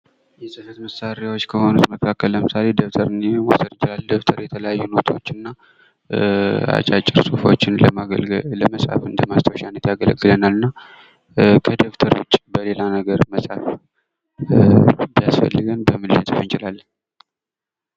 የጽህፈት መሳሪያዎች ከሆኑት መካከል አንዱ ለምሳሌ ደብተር ሊወሰድ ይችላል ደብተር የተለያዩ ኖቶችንና እና አጫጭር ጽሁፎችን ለመጻፍ እንደማስታወሻነት ያገለግልናል እና ከደብተሩ ውጪ በሌላ ነገር መጻፍ ቢያስፈልገን በምን ልንጽፍ እንችላለን?